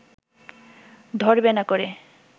ধরবে না করে